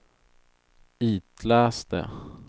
itläs det